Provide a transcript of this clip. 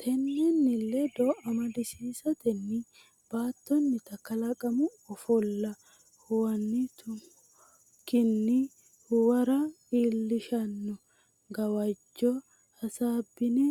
Tennenni ledo amadisiisatenni baattonnita kalaqamu ofolla huwan tummokkinni hawuura iillishshanno gawajjo hasaabbine